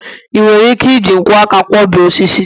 ị nwere ike iji nkwọ aka kwo bee osisi?